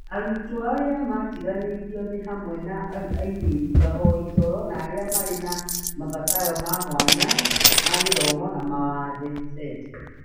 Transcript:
Arutwo arĩa matiganĩirio nĩ hamwe na airĩtu, ahoi toro, na arĩa marĩ na mabataro ma mwanya ma gĩthomo na mawathe (SEND).